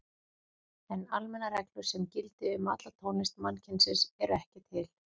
En almennar reglur sem gildi um alla tónlist mannkynsins eru ekki til.